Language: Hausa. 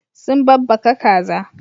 Sun babbaka kaza.